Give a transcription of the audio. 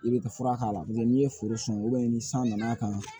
I bɛ fura k'a la n'o tɛ n'i ye foro sɔn ni san nana kan